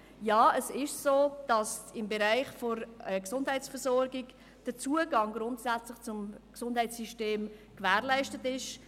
Ja, es ist so, dass der Zugang zum Gesundheitssystem gewährleistet ist.